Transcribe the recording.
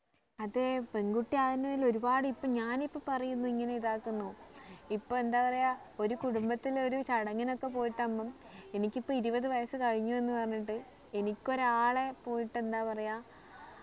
അതെ പെൺകുട്ടി ആയതിന്റെ പേരിൽ ഒരുപാടു ഇപ്പൊ ഞാൻ ഇപ്പൊ പറയുന്നു ഇങ്ങനെ ഇതാകുന്നു ഇപ്പൊ എന്താ പറയാ ഒരു കുടുംബത്തില് ഒരു ചടങ്ങിന് പോയിട്ടാകുമ്പോ എനിക്ക് ഇപ്പൊ ഇരുപത് വയസ് കഴിഞ്ഞു എന്ന് പറഞ്ഞിട്ട് എനിക്ക് ഒരാളെ പോയിട്ട് എന്താ പറയാ